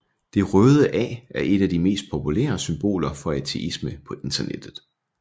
Det Røde A er et af de mest populære symboler for ateisme på Internettet